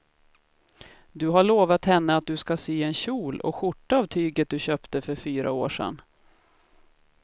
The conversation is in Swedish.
Du har lovat henne att du ska sy en kjol och skjorta av tyget du köpte för fyra år sedan.